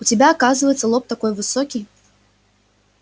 у тебя оказывается лоб такой высокий